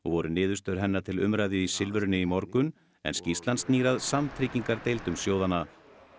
voru niðurstöður hennar til umræðu í Silfrinu í morgun skýrslan snýr að sjóðanna